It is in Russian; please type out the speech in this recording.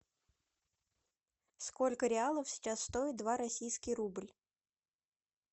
сколько реалов сейчас стоит два российский рубль